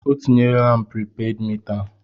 O tinyela m pripeed mita!